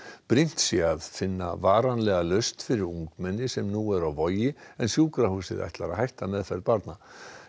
brýnt sé að finna varanlega lausn fyrir ungmenni sem nú eru á Vogi en sjúkrahúsið ætlar að hætta meðferð barna